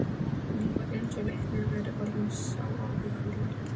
Nú var eins og Leiknir væri orðinn sá áhyggjufulli.